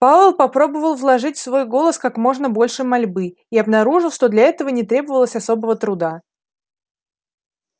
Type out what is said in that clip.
пауэлл попробовал вложить в свой голос как можно больше мольбы и обнаружил что для этого не требовалось особого труда